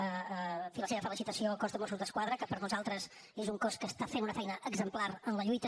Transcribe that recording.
en fi la seva felicitació al cos de mossos d’esquadra que per nosaltres és un cos que està fent una feina exemplar en la lluita